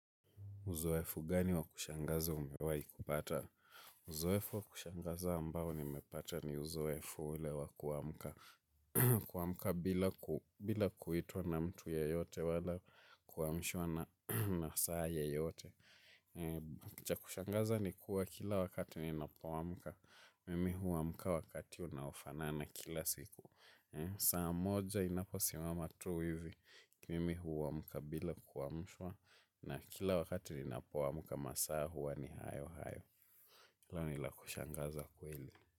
Uzoefu gani wa kushangaza umewahi kupata? Uzoefu wa kushangaza ambao nimepata ni uzoefu ule wa kuamka. Kuamka bila kuitwa na mtu yeyote wala kuamshwa na saa yeyote cha kushangaza ni kuwa kila wakati ninapo amka. Mimi huamka wakati unaofaa na kila siku. Saa moja inapo simama tu hivi. Mimi huamka bila kuamshwa. Na kila wakati ninapoamka masaa huwa ni hayo hayo la kushangaza kweli.